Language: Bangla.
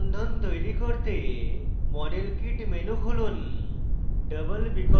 অণুতে দ্বিবন্ধন তৈরী করতে model kit menu খুলুন